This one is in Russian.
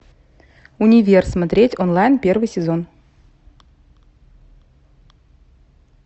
универ смотреть онлайн первый сезон